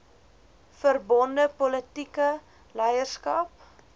verbonde politieke leierskap